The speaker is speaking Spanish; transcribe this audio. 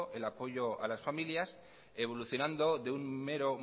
el apoyo a las familias evolucionando de un mero